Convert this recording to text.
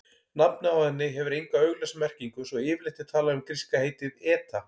Nafnið á henni hefur enga augljósa merkingu svo yfirleitt er talað um gríska heitið eta.